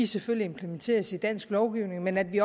selvfølgelig implementeres i dansk lovgivning men at vi